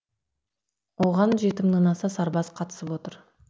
оған жеті мыңнан аса сарбаз қатысып отыр